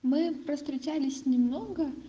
мы провстречались немного